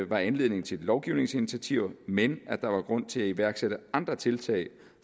var anledning til lovgivningsinitiativer men at der var grund til at iværksætte andre tiltag